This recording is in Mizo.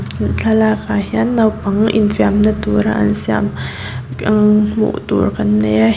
thlalakah hian naupang infiamna tura an siam umm hmuh tur kan nei a he--